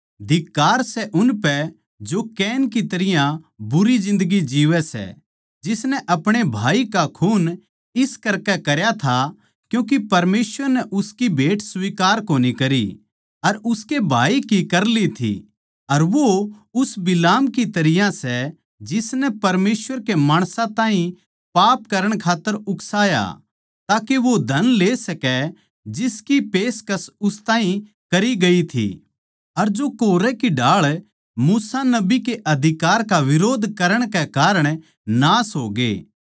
धिक्कार सै उनपै जो कैन की तरियां बुरी जिन्दगी जीवै सै जिसनै अपणे भाई का खून इस करकै करया था क्यूँके परमेसवर नै उसकी भेट स्वीकार कोनी करी अर उसके भाई की कर ली थी अर वो उस बिलाम की तरियां सै जिसनै परमेसवर के माणसां ताहीं पाप करण खात्तर उकसाया ताके वो धन ले सकै जिसकी पेशकस उस ताहीं करी गई थी अर जो कोरह की ढाळ मूसा नबी के अधिकार का बिरोध करण के कारण नाश होगे